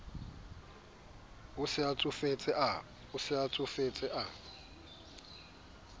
a se a tsofetse a